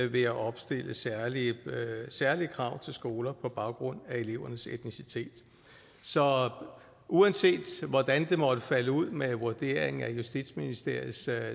ved at opstille særlige særlige krav til skoler på baggrund af elevernes etnicitet så uanset hvordan det måtte falde ud med vurderingen af justitsministeriets